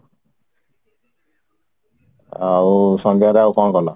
ଆଉ ସନ୍ଧ୍ୟାରେ ଆଉ କଣ କଲ?